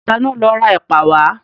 Ta ni ó lọ ra ẹ̀pà wá?